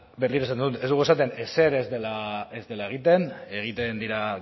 berriro esango dut ez dugu esaten ezer ez dela egiten egiten dira